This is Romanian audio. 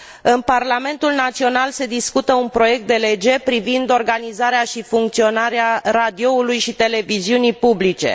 În Parlamentul național se discută un proiect de lege privind organizarea și funcționarea radioului și televiziunii publice.